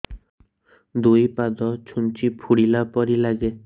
ଦୁଇ ପାଦ ଛୁଞ୍ଚି ଫୁଡିଲା ପରି ଲାଗେ